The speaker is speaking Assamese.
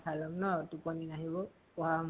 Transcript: খাই লম ন টোপনি নাহিব পঢ়া স